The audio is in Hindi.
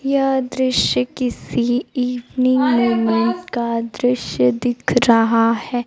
यह दृश्य किसी इवनिंग मोमेंट का दृश्य दिख रहा है।